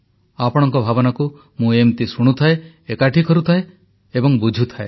ଆପଣଙ୍କ ଭାବନାକୁ ମୁଁ ଏମିତି ଶୁଣୁଥାଏ ଏକାଠି କରୁଥାଏ ଏବଂ ବୁଝୁଥାଏ